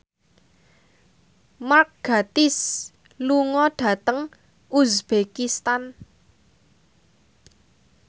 Mark Gatiss lunga dhateng uzbekistan